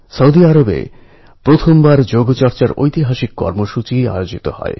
এই অপারেশানে থাইল্যাণ্ডের নৌবাহিনীর এক সৈন্যকে প্রাণ দিতে হয়েছে